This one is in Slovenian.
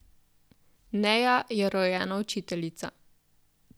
Neja je rojena učiteljica.